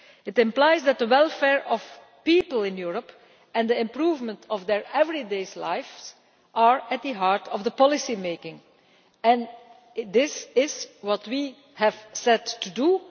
It implies that the welfare of people in Europe and the improvement of their everyday lives have to be at the heart of policy making, and this is what we have set out to do.